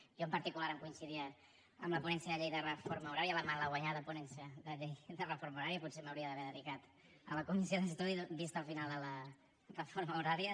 a mi en particular em coincidia amb la ponència de llei de reforma horària la malaguanyada ponència de llei de reforma horària potser m’hauria d’haver dedicat a la comissió d’estudi vist el final de la reforma horària